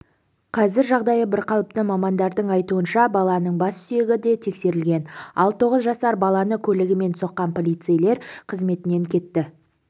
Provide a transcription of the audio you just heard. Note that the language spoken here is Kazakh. қазір жағдайы бірқалыпты мамандардың айтуынша баланың бас сүйегі де тексерілген ал тоғыз жасар баланы көлігімен соққан полицейлер қызметінен кетті